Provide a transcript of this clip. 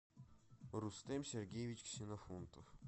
рустем сергеевич ксенофонтов